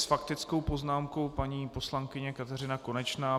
S faktickou poznámkou paní poslankyně Kateřina Konečná.